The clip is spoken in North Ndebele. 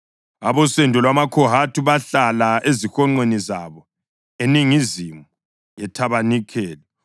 Abosendo lwamaKhohathi bahlala ezihonqweni zabo eningizimu yethabanikeli.